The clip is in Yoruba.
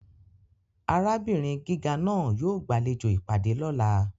Arabinrin giga naa yoo gbalejo ipade lọla.